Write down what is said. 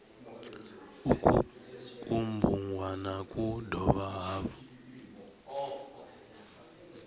uku kubugwana ku dovha hafhu